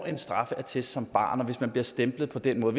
en straffeattest som barn hvis man bliver stemplet på den måde